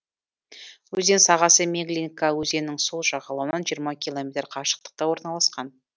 өзен сағасы меглинка өзенінің сол жағалауынан жиырма километр қашықтықта орналасқан